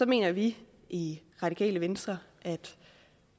mener vi i radikale venstre at